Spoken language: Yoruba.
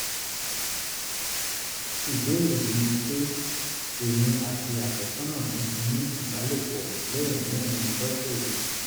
ìbéèrè mi ni pé: èmi àti àfẹ́sọ́nà mi ti ní ìbálòpọ̀ lẹ́ẹ̀mẹrin lọ́sẹ̀ yìí